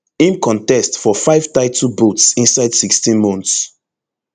im contest for five title bouts inside sixteen months